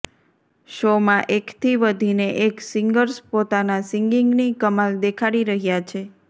શોમાં એકથી વધીને એક સિંગર્સ પોતાના સિંગિંગની કમાલ દેખાડી રહ્યા છે